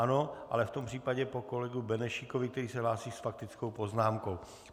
Ano, ale v tom případě po kolegovi Benešíkovi, který se hlásí s faktickou poznámkou.